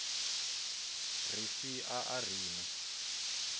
ri si a ri na